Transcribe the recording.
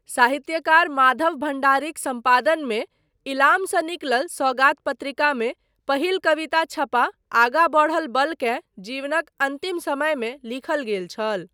साहित्यकार माधव भण्डारीक सम्पादनमे इलामसँ निकलल सौगात पत्रिकामे पहिल कविता छपा आगाँ बढ़ल बल केँ जीवनक अन्तिम समयमे लिखल गेल छल ।